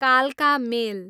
कालका मेल